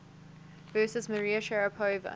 versus maria sharapova